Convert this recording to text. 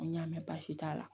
N y'a mɛn baasi t'a la